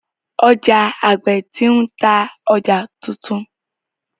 Oja agbe ti n ta ọja titun.